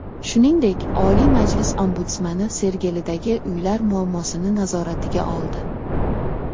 Shuningdek, Oliy Majlis Ombudsmani Sergelidagi uylar muammosini nazoratiga oldi .